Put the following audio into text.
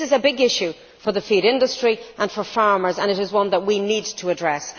This is a big issue for the feed industry and for farmers, and it is one that we need to address.